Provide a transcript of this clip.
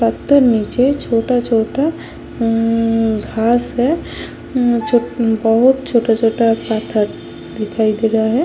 पत्थर निचे छोटा -छोटा घास है बहुत छोटा -छोटा पत्थर दिखाई दे रहे है।